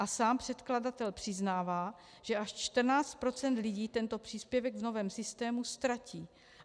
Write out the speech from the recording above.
A sám předkladatel přiznává, že až 14 % lidí tento příspěvek v novém systému ztratí.